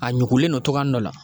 A ɲugulen don togoyanin dɔ la.